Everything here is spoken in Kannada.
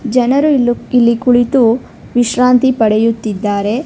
ಜನರು ಇಲ್ಲೂ ಇಲ್ಲಿ ಕುಳಿತು ವಿಶ್ರಾಂತಿ ಪಡೆಯುತ್ತಿದ್ದಾರೆ.